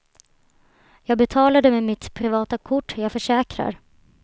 Jag betalade med mitt privata kort, jag försäkrar.